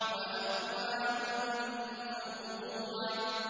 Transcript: وَأَكْوَابٌ مَّوْضُوعَةٌ